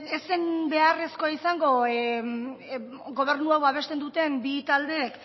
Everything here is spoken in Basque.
ez zen beharrezkoa izango gobernu hau babesten duten bi taldeek